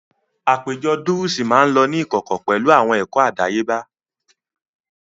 Àpéjọ dúrúsì máa ń lọ ní ìkọ̀kọ̀ pẹ̀lú pẹ̀lú àwọn ẹ̀kọ́ àdáyébá